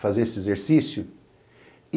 Fazer esse exercício.